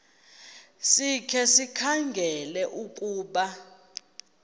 sikhe sikhangele ukuba